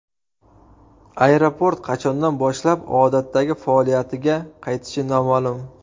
Aeroport qachondan boshlab odatdagi faoliyatiga qaytishi noma’lum.